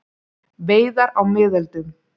Veiðar á miðöldum.